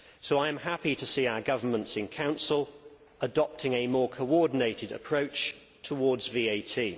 I am happy to see our governments in the Council adopting a more coordinated approach towards VAT.